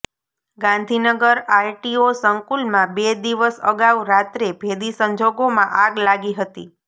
Gandhinagar RTO સંકુલમાં બે દિવસ અગાઉ રાત્રે ભેદી સંજોગોમાં આગ લાગી હતી